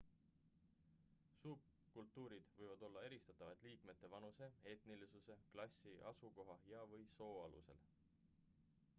subkultuurid võivad olla eristatavad liikmete vanuse etnilisuse klassi asukoha ja/või soo alusel